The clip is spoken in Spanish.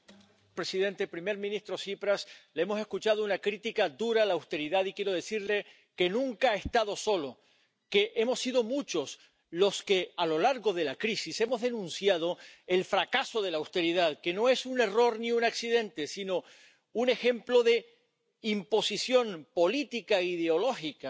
Señor presidente, señor primer ministro Tsipras, le hemos escuchado una crítica dura a la austeridad, y quiero decirle que nunca ha estado solo, que hemos sido muchos los que, a lo largo de la crisis, hemos denunciado el fracaso de la austeridad. Que no es un error ni un accidente, sino un ejemplo de imposición política e ideológica,